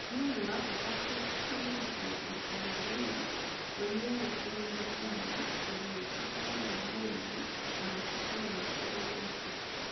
Nĩ ũndũ wa bata kũririkana atĩ mwarimũ we mwene ti mũndũ ũmwe na nĩ akoragwo na wendi na mabataro matiganĩte.